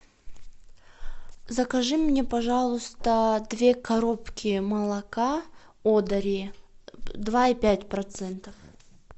закажи мне пожалуйста две коробки молока одари два и пять процентов